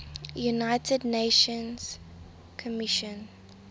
united nations commission